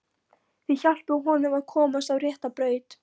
Þau hjálpuðu honum að komast á rétta braut.